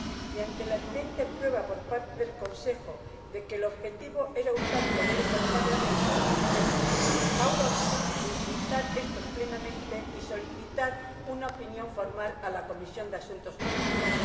y ante la evidente prueba por parte del Consejo de que el objetivo era hurtar poderes al Parlamento, decidimos, ahora sí, utilizar éstos plenamente y solicitar una opinión formal a la Comisión de Asuntos Jurídicos.